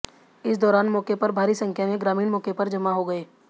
इस दौरान मौके पर भारी संख्या में ग्रामीण मौके पर जमा हो गए